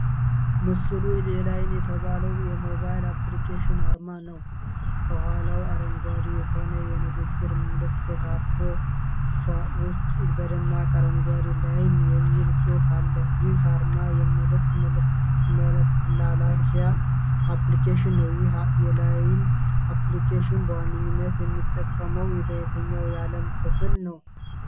ምስሉ የላይን የተባለ የሞባይል አፕሊኬሽን አርማ ነው። ከኋላው አረንጓዴ የሆነ የንግግር መልዕክት አረፋ ውስጥ በደማቅ አረንጓዴ "ላይን" የሚል ጽሑፍ አለ። ይህ አርማ የመልዕክት መላላኪያ አፕሊኬሽን ነው። ይህ የላይን አፕሊኬሽን በዋነኝነት የሚጠቀመው በየትኛው የዓለም ክፍል ነው?